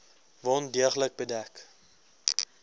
wond deeglik bedek